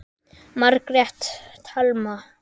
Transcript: Margrét Thelma.